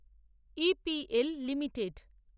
E. P. L limited